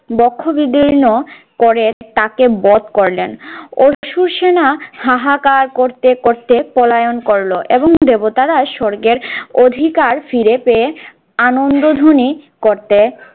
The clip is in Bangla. বক্ষ বিদীর্ণ করে তাকে বধ করলেন। অসুর সেনা হাহাকার করতে করতে পলায়ন করল এবং দেবতারা স্বর্গের অধিকার ফিরে পেয়ে আনন্দধ্বনি করতে